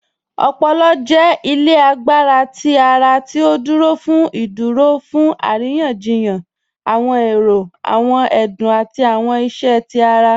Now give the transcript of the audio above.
Ọpọ̀lọ̀ jẹ́ ilẹ̀ àgbàrá tí ara ti ó ní ìdúró fún arìyàn-jìyàn awọn èrò, awọn ẹdún, àti awọn ìṣẹ́ tí ara